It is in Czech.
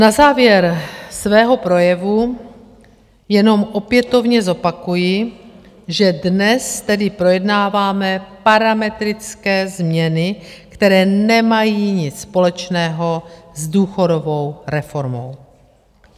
Na závěr svého projevu jenom opětovně zopakuji, že dnes tedy projednáváme parametrické změny, které nemají nic společného s důchodovou reformou.